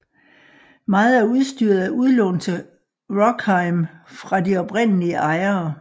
Meget af udstyret er udlånt til Rockheim fra de oprindelige ejere